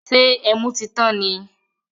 Ṣé ẹmu tí tán ni?